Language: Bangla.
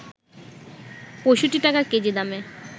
৬৫ টাকা কেজি দামে